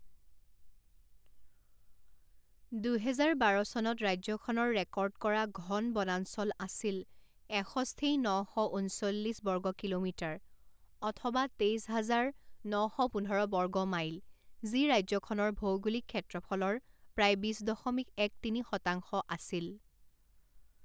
দুহেজাৰ বাৰ চনত ৰাজ্যখনৰ ৰেকৰ্ড কৰা ঘন বনাঞ্চল আছিল এষষ্ঠি ন শ ঊনচল্লিছ বৰ্গ কিলোমিটাৰ অথবা তেইছ হাজাৰ ন শ পোন্ধৰ বৰ্গ মাইল যি ৰাজ্যখনৰ ভৌগোলিক ক্ষেত্ৰফলৰ প্ৰায় বিছ দশমিক এক তিনি শতাংশ আছিল।